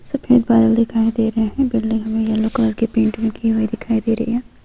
सफेद बादल दिखाया दे रहे हैं बिल्डिंग हमें येल्लो कलर की पेंट लगी हुई दिखाई दे रही है|